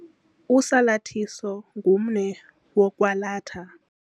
Usalathiso ngumnwe wokwalatha.